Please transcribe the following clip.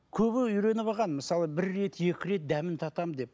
көбі үйреніп алған мысалы бір рет екі рет дәмін татамын деп